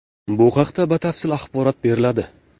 Bu haqda batafsil axborot beriladi.